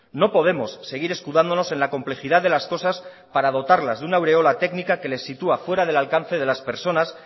no podemos seguir escudándonos en la complejidad de las cosas para dotarlas de una aureola técnica que les sitúa fuera del alcance de las personas